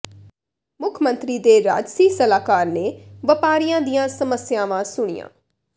ਮੁੱਖ ਮੰਤਰੀ ਦੇ ਰਾਜਸੀ ਸਲਾਹਕਾਰ ਨੇ ਵਪਾਰੀਆਂ ਦੀਆਂ ਸਮੱਸਿਆਵਾਂ ਸੁਣੀਆਂ